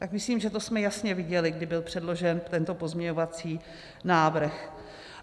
- Tak myslím, že to jsme jasně viděli, kdy byl předložen tento pozměňovací návrh.